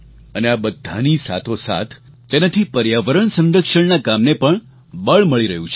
અને આ બધાની સાથોસાથ તેનાથી પર્યાવરણ સંરક્ષણના કામને પણ બળ મળી રહ્યું છે